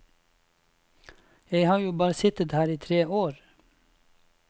Jeg har jo bare sittet her i tre år.